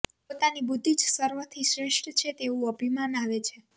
પોતાની બુદ્ધિ જ સર્વથી શ્રેષ્ઠ છે તેવું અભિમાન આવે છે